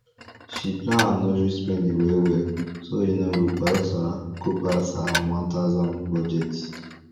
she plan her nursery spending wellwell so e no go pass her go pass her one thousand budget